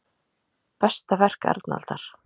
Besta verk Arnaldar